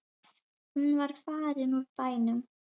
Hún var farin úr bænum.